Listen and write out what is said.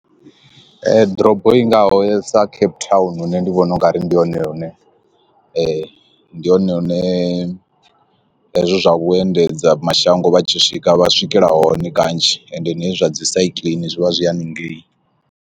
Ḓorobo ingaho ya sa Cape Town nṋe ndi vhona ungari ndi hone hune ndi hone hune hezwi zwa vhuendedzi mashango vhatshi swika vha swikela hone kanzhi ende hezwi zwa dzi sikiḽini zwi vha zwi haningei.